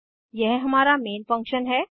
यह हमारा main function है